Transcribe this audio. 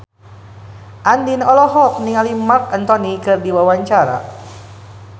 Andien olohok ningali Marc Anthony keur diwawancara